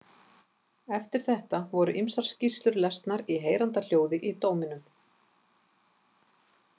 Eftir þetta voru ýmsar skýrslur lesnar í heyranda hljóði í dóminum.